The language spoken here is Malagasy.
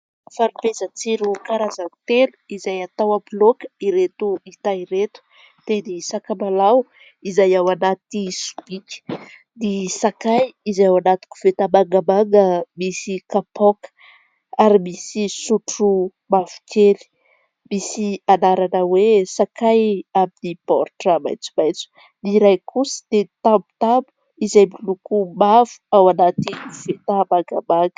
Fanomezan-tsiro karazany telo, izay atao amin'ny laoka ireto hita ireto, dia ny sakamalao izay ao anaty sobika, ny sakay izay ao anaty koveta mangamanga misy kapoaka, ary misy sotro mavokely misy anarana hoe sakay amin'ny baoritra maitsomaitso, ny iray kosa dia tamotamo izay miloko mavo ao anaty koveta mangamanga.